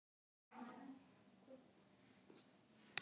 Þetta er í raun ekki mjög flókin kenning.